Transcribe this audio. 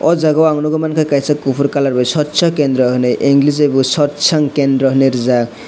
o jaga o ang nogoi mangka kaisa kopor colour bai satsang kendra hinui english bai bo satsang kendra hinui rijak.